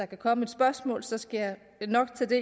komme et spørgsmål for så skal jeg nok tage det